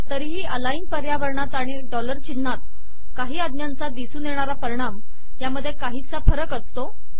तरीही अलाइन पर्यावरणात आणि डॉलर चिन्हात मधील त्या पैकी काही आज्ञांचा दिसून येणारा परिणाम यात काहीसा फरक असतो